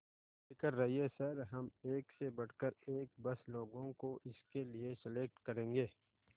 बेफिक्र रहिए सर हम एक से बढ़कर एक बस लोगों को इसके लिए सेलेक्ट करेंगे